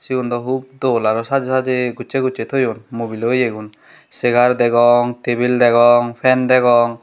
segun do hup dol aro sajay sajay gossay gossay toyoun mobilo eya gun cegar dagong tabel dagong pen degong.